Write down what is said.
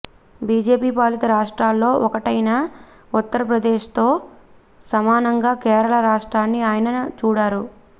BJP పాలిత రాష్ట్రాల్లో ఒకటైన ఉత్తరప్రదేశ్తో సమానంగా కేరళ రాష్ట్రాన్ని ఆయన చూడరు